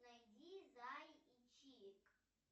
найди зай и чик